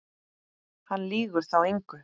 Hann lýgur þá engu.